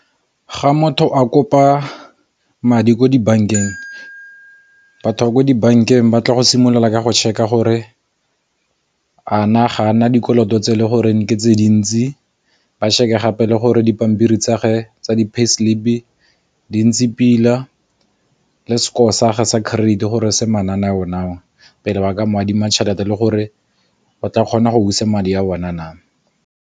Ga motho a kopa madi ko dibankeng, batho ba ko dibankeng ba tla go simolola ka go check-a gore a na ga a na dikoloto tse le goreng ke tse dintsi, ba shebe gape le gore dipampiri tsa ge tsa di pay slip di ntse pila, le score sage sa credit gore se mananeo na, pele ba ka mo adima tšhelete le gore o tla kgona go busa madi a bona na.